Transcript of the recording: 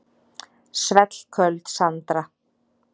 Svellköld Sandra.